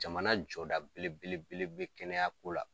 Jamana jɔ da belebelebele be kɛnɛya ko la